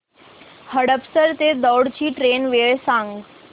हडपसर ते दौंड ची ट्रेन वेळ सांग